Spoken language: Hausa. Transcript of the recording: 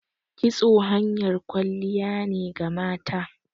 Kitso hanyar kwalliya ne ga mata